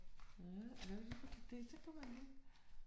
Ja, så kunne man det hvad kommer nu